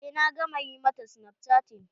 Eh na gama ƴi ma ta snapchatting.